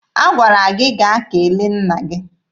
Agwara gị gaa kele nna gị!